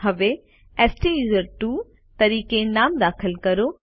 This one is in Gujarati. હવે યુઝર્ટવો તરીકે નામ દાખલ કરો